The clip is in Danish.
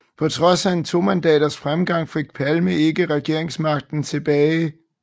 På trods af en tomandaters fremgang fik Palme ikke regeringsmagten tilbage